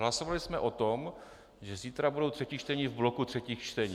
Hlasovali jsme o tom, že zítra budou třetí čtení v bloku třetích čtení.